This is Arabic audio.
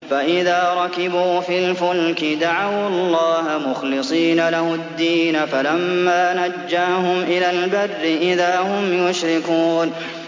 فَإِذَا رَكِبُوا فِي الْفُلْكِ دَعَوُا اللَّهَ مُخْلِصِينَ لَهُ الدِّينَ فَلَمَّا نَجَّاهُمْ إِلَى الْبَرِّ إِذَا هُمْ يُشْرِكُونَ